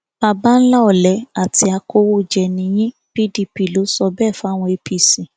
baba ńlá ọlẹ àti akọwéjẹ ni yín pdp ló sọ bẹẹ fáwọn apc